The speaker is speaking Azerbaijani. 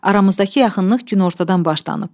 Aramızdakı yaxınlıq günortadan başlanıb.